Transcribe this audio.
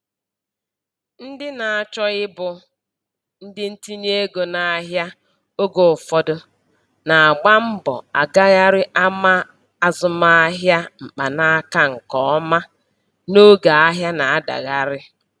Ndị na-achọ ịbụ ndị ntinye ego n'ahịa oge ụfọdụ na-agba mbọ agagharị ama azụmahịa .mkpanaka nke ọma n'oge ahịa na-adagharị